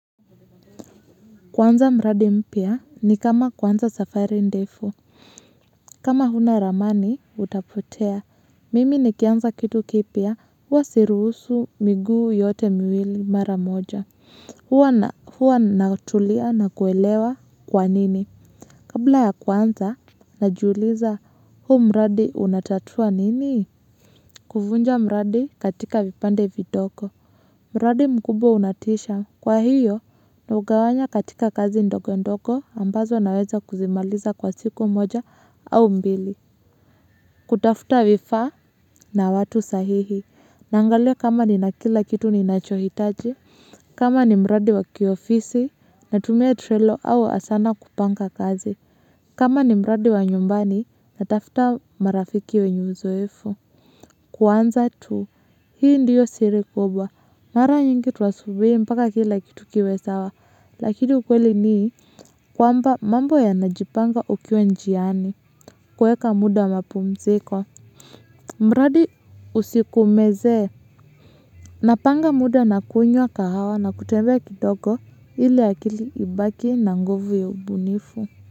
Kuanza mradi mpya ni kama kuanza safari ndefu kama huna ramani utapotea mimi nikianza kitu kipia huwa siruhusu miguu yote miwili mara moja huwa huwa natulia na kuelewa kwa nini kabla ya kuanza najiuliza huu mradi unatatua nini kufunja mradi katika vipande vidoko. Mradi mkubwa unatisha. Kwa hiyo, na ugawanya katika kazi ndogo ndogo ambazo naweza kuzimaliza kwa siku moja au mbili. Kutafuta vifaa na watu sahihi. Naangalia kama ni na kila kitu ni nachohitaji. Kama ni mradi wa kiofisi na tumia trelo au asana kupanga kazi. Kama ni mradi wa nyumbani natafuta marafiki wenye uzoefu. Kuanza tu. Hii ndiyo siri kubwa. Mara nyingi tuwasubiri mpaka kila kitu kiwe sawa, lakini ukweli ni kwamba mambo ya najipanga ukiwe njiani kueka muda mapumziko. Mradi usikumeze, napanga muda na kuinywa kahawa na kutembe kidogo ili akili ibaki na nguvu ya ubunifu.